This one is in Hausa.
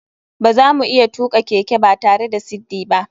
Bazamu iya tuka keke batare da siddi ba.